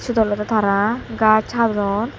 siyut olode tara gach hadon.